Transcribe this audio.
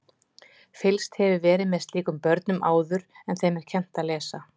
Fylgst hefur verið með slíkum börnum áður en þeim er kennt að lesa.